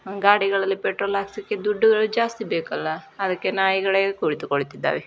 ಗಾಡಿಗಳಲ್ಲಿ petrol ಹಾಕಿಸಲಿಕ್ಕೆ ದುಡ್ಡುಗಳು ಜಾಸ್ತಿ ಬೇಕಲ್ಲ ಅದಕ್ಕೆ ನಾಯಿಗಳೇ ಕುಳಿತು ಕೊಳ್ಳುತ್ತಿದ್ದಾವೆ.